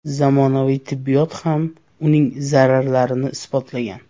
Zamonaviy tibbiyot ham uning zararlarini isbotlagan.